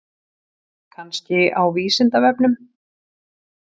Kannski á Vísindavefnum?